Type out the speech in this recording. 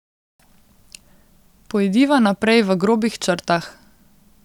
Pojdiva naprej v grobih črtah.